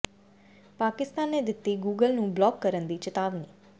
ਪਾਕਿਸਤਾਨ ਨੇ ਦਿੱਤੀ ਗੂਗਲ ਨੂੰ ਬਲਾਕ ਕਰਨ ਦੀ ਚਿਤਾਵਨੀ